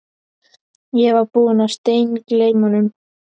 Ég var búinn að steingleyma honum